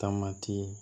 Taamati